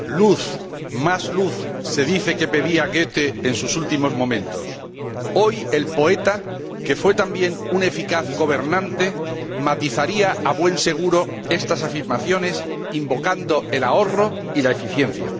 Señora Presidenta, ¡Luz, más luz! se dice que pedía Goethe en sus últimos momentos. Hoy el poeta, que fue también un eficaz gobernante, matizaría, a buen seguro, estas afirmaciones invocando el ahorro y la eficiencia.